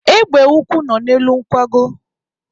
Egbe ukwu nọ n'elu nkwago.